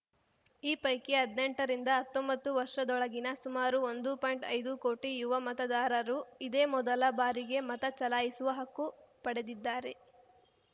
ಈ ಪೈಕಿ ಹದ್ನೆಂಟ ರಿಂದ ಹತ್ತೊಂಬತ್ತು ವರ್ಷದೊಳಗಿನ ಸುಮಾರು ಒಂದು ಪಾಯಿಂಟ್ಐದು ಕೋಟಿ ಯುವ ಮತದಾರರು ಇದೇ ಮೊದಲ ಬಾರಿಗೆ ಮತ ಚಲಾಯಿಸುವ ಹಕ್ಕು ಪಡೆದಿದ್ದಾರೆ